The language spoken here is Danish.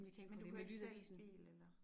Men du kører ikke selv bil eller?